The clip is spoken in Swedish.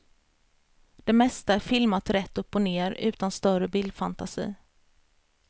Det mesta är filmat rätt upp och ner utan större bildfantasi.